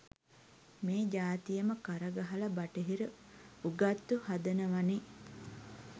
මේ ජාතියම කරගහල බටහිර උගත්තු හදනවනේ